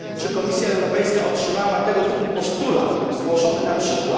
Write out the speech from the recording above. Czy Komisja Europejska otrzymała tego typu postulat, zgłoszony np.